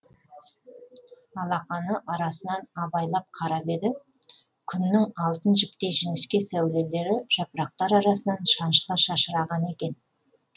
алақаны арасынан абайлап қарап еді күннің алтын жіптей жіңішке сәулелері жапырақтар арасынан шаншыла шашыраған екен